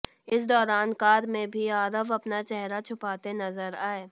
इस दौरान कार में भी आरव अपना चेहरा छुपाते नजर आए